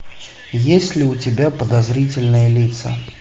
есть ли у тебя подозрительные лица